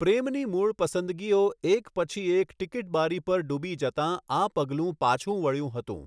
પ્રેમની મૂળ પસંદગીઓ એક પછી એક ટીકીટ બારી પર ડૂબી જતાં આ પગલું પાછું વળ્યું હતું.